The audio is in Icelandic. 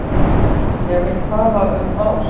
Ég vil tala um ást.